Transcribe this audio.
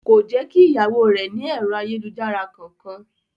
Kò jẹ́ kí ìyàwó rẹ̀ ní ẹ̀rọ ayélujára kankan.